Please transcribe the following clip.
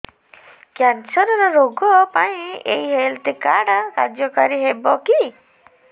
cancer ରୋଗ ପାଇଁ ଏଇ ହେଲ୍ଥ କାର୍ଡ କାର୍ଯ୍ୟକାରି ହେବ କି